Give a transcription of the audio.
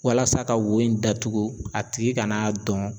Walasa ka wo in datugu a tigi kana a dɔn